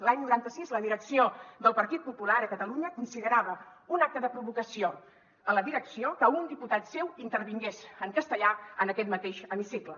l’any noranta sis la direcció del partit popular a catalunya considerava un acte de provocació a la direcció que un diputat seu intervingués en castellà en aquest mateix hemicicle